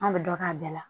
An bɛ dɔ k'a bɛɛ la